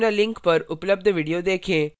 निम्न link पर उपलब्ध video देखें